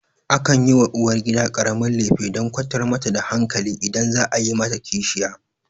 Akan yi wa uwargida ƙaramin lefe dan kwantar mata da hankali idan za a yi mata kishiya